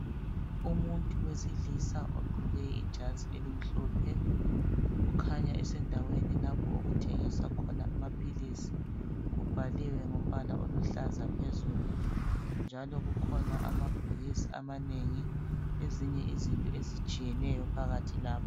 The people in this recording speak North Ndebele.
Umuntu wesilisa ogqoke ijazi elimhlophe ukhanya esendaweni lapho okuthengiswa khona amaphilisi kubhaliwe ngombala oluhlaza phezulu njalo kukhona amabhokisi amanengi ezinye izinto ezitshiyeneyo phakathi lapho.